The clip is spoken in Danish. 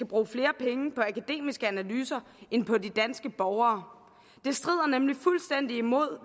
bruge flere penge på akademiske analyser end på de danske borgere det strider nemlig fuldstændig imod